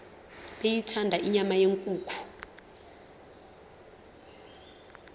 beyithanda inyama yenkukhu